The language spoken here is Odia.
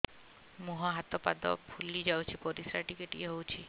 ମୁହଁ ହାତ ପାଦ ଫୁଲି ଯାଉଛି ପରିସ୍ରା ଟିକେ ଟିକେ ହଉଛି